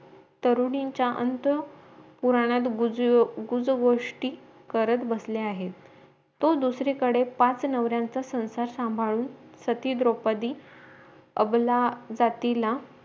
तरुणींचा अंत पुराणात गुज गुज गोष्टी करत बसले आहेत तो दुसरीकडे पाच नवर्यांचा संसार सांभाळून सती द्रौपदि अवला जातीला